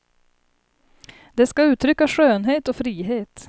De ska uttrycka skönhet och frihet.